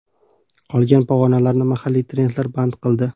Qolgan pog‘onalarni mahalliy trendlar band qildi.